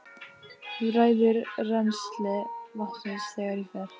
Þú ræður rennsli vatnsins þegar ég fer.